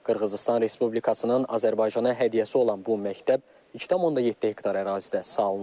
Qırğızıstan Respublikasının Azərbaycana hədiyyəsi olan bu məktəb 2,7 hektar ərazidə salınıb.